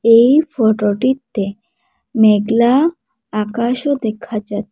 এই ফটোটিতে মেঘলা আকাশও দেখা যা--